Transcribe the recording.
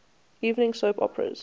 evening soap operas